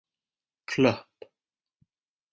Klöpp